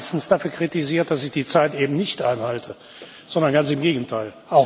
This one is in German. Ich werde meistens dafür kritisiert, dass ich die Zeit eben nicht einhalte, sondern ganz im Gegenteil.